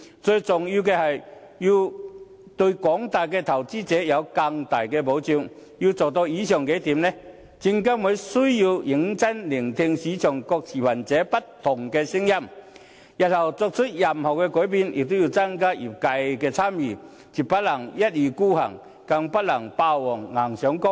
最重要的是，對廣大投資者提供更大的保障，要做到以上數點，證監會需要認真聆聽市場各持份者不同的聲音，日後作出任何改變，也要增加業界的參與，絕不能一意孤行，更不能霸王硬上弓。